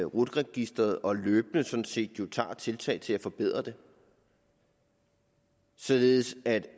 rut registeret og løbende sådan set jo tager tiltag til at forbedre det således at én